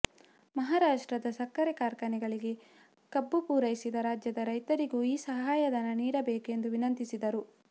ಮಹಾರಾಷ್ಟ್ರದ ಸಕ್ಕರೆ ಕಾರ್ಖಾನೆಗಳಿಗೆ ಕಬ್ಬು ಪೂರೈಸಿದ ರಾಜ್ಯದ ರೈತರಿಗೂ ಈ ಸಹಾಯಧನ ನೀಡಬೇಕು ಎಂದು ವಿನಂತಿಸಿದರು